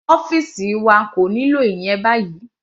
Ọ́fìsì wa kò nílò ìyẹn báyìí.